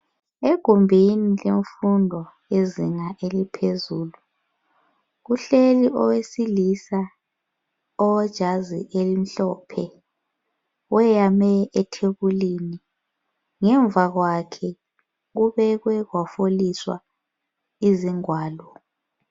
Egumbini lemfundo yezinga eliphezulu. Kuhleli owesilisa owejazi elimhlophe, weyame ethebulini. Ngemvakwakhe kubekwe kwafoliswa izingwalo.